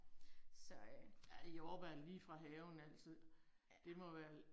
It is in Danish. Så øh. Ja